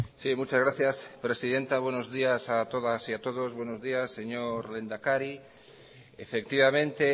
sí muchas gracias presidenta buenos días a todas y a todos buenos días señor lehendakari efectivamente